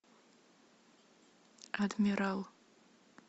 адмирал